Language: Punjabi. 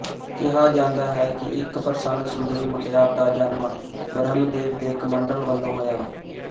ਕਿਹਾ ਜਾਂਦਾ ਹੈ ਕਿ ਇੱਕ ਪ੍ਰਸੰਨ ਸੁੰਦਰੀ ਮੁਟਿਆਰ ਦਾ ਜਨਮ ਬਰਹਮਦੇਵ ਦੇ ਕਮੰਡਲ ਵਲੋਂ ਹੋਇਆ